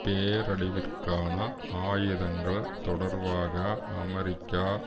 பேரழிவிற்கான ஆயுதங்கள் தொடர்பாக அமெரிக்கா